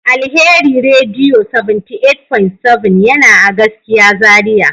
Alheri radio 78.7 yana a gaskiya Zaria.